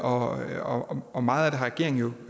og og meget af det har regeringen